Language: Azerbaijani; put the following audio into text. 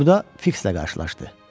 Burada Fiks də qarşılaşdı.